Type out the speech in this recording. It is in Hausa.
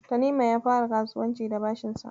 Tanimu ya fara kasuwanci da bashinsa.